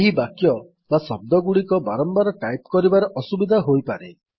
ଏହି ବାକ୍ୟ ବା ଶବ୍ଦଗୁଡିକ ବାରମ୍ୱାର ଟାଇପ୍ କରିବାରେ ଅସୁବିଧା ହୋଇପାରେ